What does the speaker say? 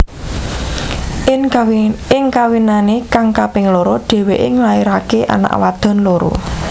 Ing kawinane kang kaping loro dheweke nglairake anak wadon loro